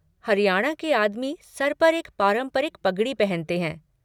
हरियाणा के आदमी सर पर एक पारंपरिक पगड़ी पहनते हैं।